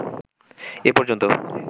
এ পর্যন্ত